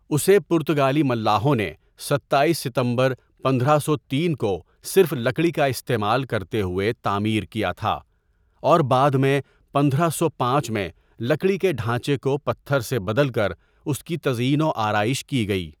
اسے پرتگالی ملاحوں نے ستایس ستمبر پندرہ سو تین کو صرف لکڑی کا استعمال کرتے ہوئے تعمیر کیا تھا، اور بعد میں پندرہ سو پانچ میں لکڑی کے ڈھانچے کو پتھر سے بدل کر اس کی تزئین و آرائش کی گئی۔